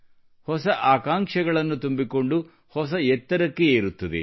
ಹೊಸ ಆಕಾಂಕ್ಷೆಗಳನ್ನು ತುಂಬಿಕೊಂಡು ಹೊಸ ಎತ್ತರಕ್ಕೆ ಏರುತ್ತದೆ